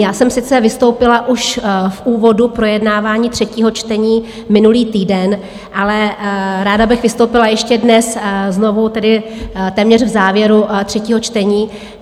Já jsem sice vystoupila už v úvodu projednávání třetího čtení minulý týden, ale ráda bych vystoupila ještě dnes znovu, tedy téměř v závěru třetího čtení.